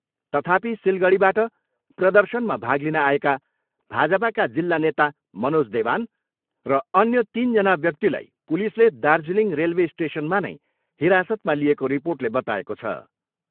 तथापि सिलगडीबाट प्रदर्शनमा भाग लिन आएका भाजपाका जिल्ला नेता मनोज देवान र अन्या तिनजना व्याक्तिलाई पुलिसले दार्जिलिङ रेलवे स्टेसनमा नै हिरासतमा लिएको रिर्पोटले बताएको छ।